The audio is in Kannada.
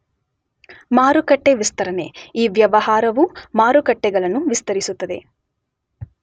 ಮಾರುಕಟ್ಟೆ ವಿಸ್ತರಣೆ , ಈ ವ್ಯವಹಾರವು ಮಾರುಕಟ್ಟೆಗಳನ್ನು ವಿಸ್ತರಿಸುತ್ತದೆ.